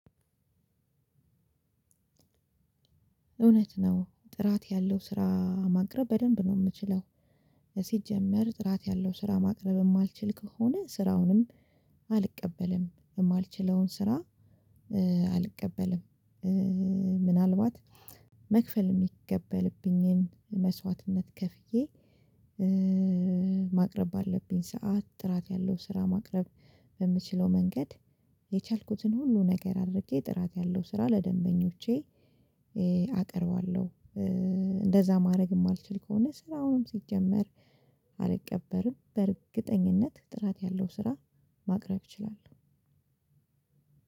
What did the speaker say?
እውነት ነው ጥራት ያለው ስራ ማቅረብ በደንብ ነው የምችለው። ሲጀመር ጥራት ያለው ስራ ማቅረብ የማልችል ከሆነ ስራውንም አልቀበልም የማልችለውን ስራ አልቀበልም ምናልባት መክፈል የሚጠበቅብኝን መስዋዕትነት ከፍዬ ማቅረብ አለብኝ ሰዓት ጥራት ያለው ስራ ማቅረብ በምችለው መንገድ የቻልኩትን ሁሉ ነገር አድርጌ ጥራት ያለው ስራ ለደንበኞቼ አቀርባለሁ። እንደዛ ማድረግ የማልችል ከሆነ ስራውንም ሲጀመር አልቀበልም በእርግጠኝነት ጥራት ያለው ስራ ማቅረብ እችላለሁ።